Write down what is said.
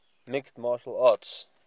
mixed martial arts